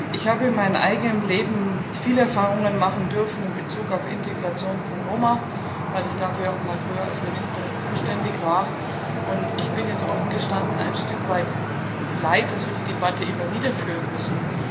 Ich habe in meinem eigenen Leben viele Erfahrungen machen dürfen in Bezug auf Integration von Roma, weil ich dafür früher mal als Ministerin zuständig war, und ich bin es, offen gestanden, ein Stück weit leid, dass wir die Debatte immer wieder führen müssen.